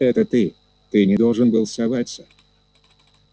это ты ты не должен был соваться